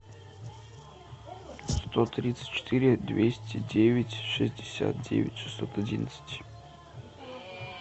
сто тридцать четыре двести девять шестьдесят девять шестьсот одиннадцать